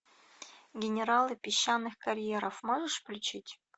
генералы песчаных карьеров можешь включить